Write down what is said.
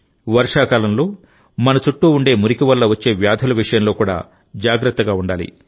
వర్షాకాలంలో మన చుట్టూ ఉండే మురికి వల్ల వచ్చే వ్యాధుల విషయంలో కూడా జాగ్రత్త గా ఉండాలి